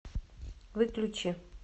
выключи